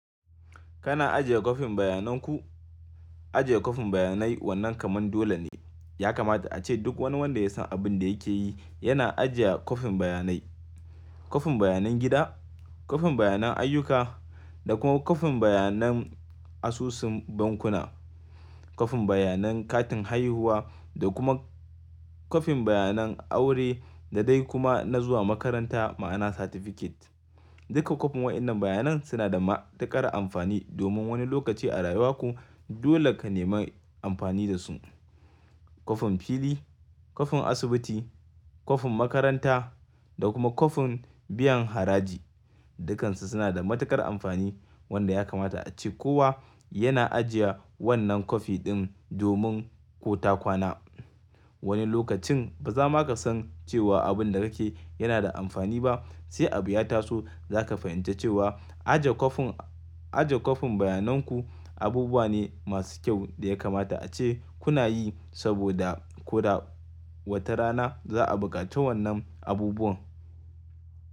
Kana ajiye kwafin bayanan ku? Ajiye kwafin bayanai wannan kaman dole ne. Ya kamata ace duk wani wanda ya san abin da yake yi yana ajiya kwafin bayanai. Kwafin bayanan gida, kwafin bayanan ayyuka da kuma kwafin bayanan asusun bankuna, kwafin bayanan katin haihuwa da kuma kwafin bayanan aure da dai kuma na zuwa makaranta ma'ana certificate. Duka kwafin waɗannan bayanai suna da matuƙar amfani domin wani lokaci a rayuwarku dole ka nemi amfani da su. Kwafin fili, kwafin asibiti, kwafin makaranta da kuma kwafin biyan haraji dukansu suna da matuƙar amfani wanda ya kamata ace kowa yana ajiye wannan kwafi din domin ko ta kwana. Wani lokacin baza maka san cewa abin da kake yana da amfani ba sai abu ya taso zaka fahimci cewa ajiye kwafin, ajiye kwafin bayanan ku abubuwa ne masu kyau da ya kamata ace kuna yi saboda ko da wata rana za'a buƙaci wannan abubuwan.